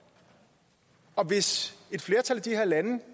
og hvis et flertal i de her lande